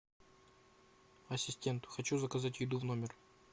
ассистент хочу заказать еду в номер